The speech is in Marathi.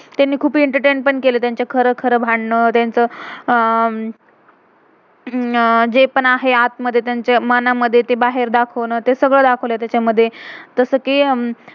तेंनी खुप एंटरटेन entertain पण केलय, तेंचं खरं खरं भांडण, तेंच अं हम्म जे पण आहे आत मेध तेंच्या मनामधे, ते सगळ दाखवलय तेच्या मधे जसं कि,